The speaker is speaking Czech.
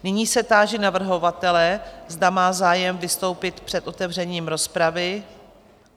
Nyní se táži navrhovatele, zda má zájem vystoupit před otevřením rozpravy?